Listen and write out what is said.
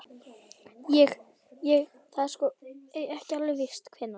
Ég. ég. það er sko. ekki alveg víst hvenær.